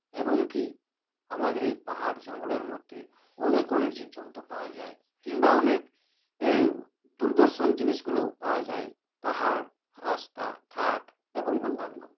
এবং কী আমাদের এই পাহাড় জঙ্গলের মধ্যে অনেক অনেক জীবজন্তু পাওয়া যায় কিংবা অনেক এ দুরদর্শন জিনিসগুলোও পাওয়া যায় পাহাড় রাস্তা ঘাট এবং অন্যান্য